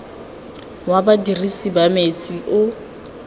wa badirisi ba metsi o